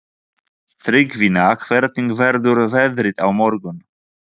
Tryggvína, hvernig verður veðrið á morgun?